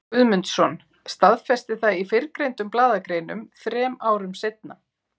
Guðmundsson, staðfesti það í fyrrgreindum blaðagreinum þrem árum seinna.